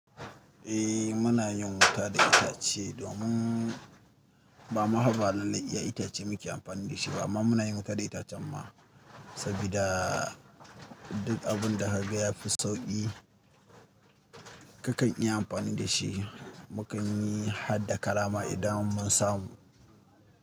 Eh muna yin wuta da itace domin ba ma hwa ba lallai da itace muke amfani da shi ba, amma muna yin wuta da itacen ma sabida duk abun da ka ga ya fi sauƙi. Kakan iya amfani da shi. Mu kan yi hadda karama idan mun samu.